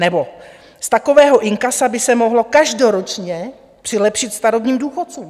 Nebo z takového inkasa by se mohlo každoročně přilepšit starobním důchodcům.